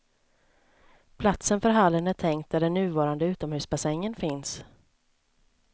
Platsen för hallen är tänkt där den nuvarande utomhusbassängen finns.